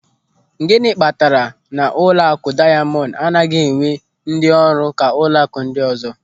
Gịnị kpatara na ụlọakụ Dayamọndụ anaghị ewee ndị ọrụ ka ụlọakụ ndị ọzọ.